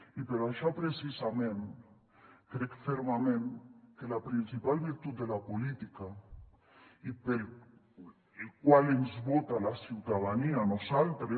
i per això precisament crec fermament que la principal virtut de la política i per la qual ens vota la ciutadania a nosaltres